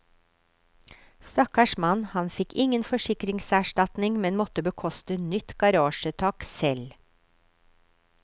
Stakkars mann, han fikk ingen forsikringserstatning, men måtte bekoste nytt garasjetak selv.